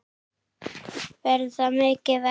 Verður það mikið verra?